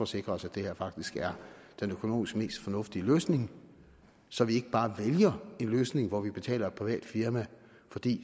sikre os at det her faktisk er den økonomisk mest fornuftige løsning så vi ikke bare vælger en løsning hvor vi betaler et privat firma fordi